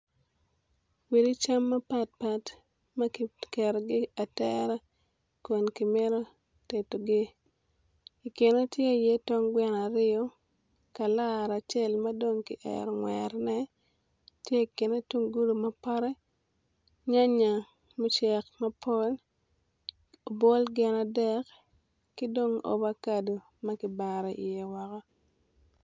Wit cam mapatpat ma kiketogi atera kun kimito tedogi i kine tye iye tong gweno aryo kalara acel ma dong kiero ngwerone, tye i kine tunggulu mapote nyanya mucek mapol obwol gin adek ki dong ovacado ma dong kibaro iye woko.